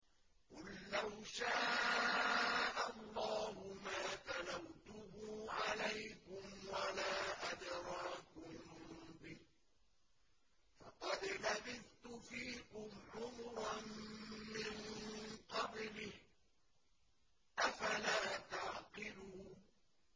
قُل لَّوْ شَاءَ اللَّهُ مَا تَلَوْتُهُ عَلَيْكُمْ وَلَا أَدْرَاكُم بِهِ ۖ فَقَدْ لَبِثْتُ فِيكُمْ عُمُرًا مِّن قَبْلِهِ ۚ أَفَلَا تَعْقِلُونَ